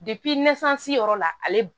yɔrɔ la ale